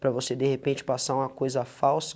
Para você, de repente, passar uma coisa falsa,